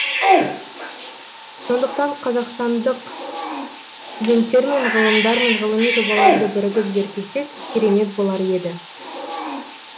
сондықтан қазақстандық студенттермен ғалымдармен ғылыми жобаларды бірігіп зерттесек керемет болар еді